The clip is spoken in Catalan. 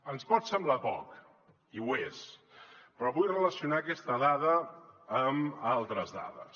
ens pot semblar poc i ho és però vull relacionar aquesta dada amb altres dades